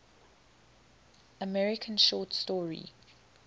american short story